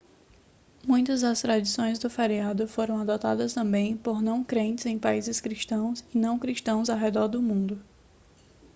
muitas das tradições do feriado foram adotadas também por não crentes em países cristãos e não cristãos ao redor do mundo